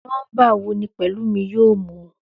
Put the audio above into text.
Nómbà wo ni Pèlúmi yóò mú?